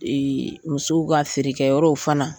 musow ka feerekɛyɔrɔw fana